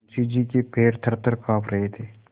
मुंशी जी के पैर थरथर कॉँप रहे थे